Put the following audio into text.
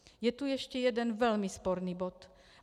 Je tu ještě jeden velmi sporný bod.